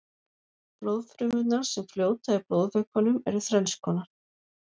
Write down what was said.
blóðfrumurnar sem fljóta í blóðvökvanum eru þrennskonar